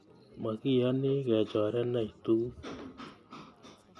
Makiyoni kechorenech tuguk